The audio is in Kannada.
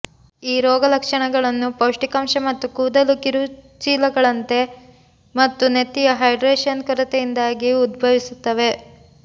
ಈ ರೋಗಲಕ್ಷಣಗಳು ಪೌಷ್ಟಿಕಾಂಶ ಮತ್ತು ಕೂದಲು ಕಿರುಚೀಲಗಳಂತೆ ಮತ್ತು ನೆತ್ತಿಯ ಹೈಡ್ರೇಷನ್ ಕೊರತೆಯಿಂದಾಗಿ ಉದ್ಭವಿಸುತ್ತವೆ